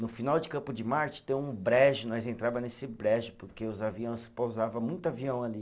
No final de Campo de Marte, tem um brejo, nós entrava nesse brejo, porque os aviões, pousava muito avião ali.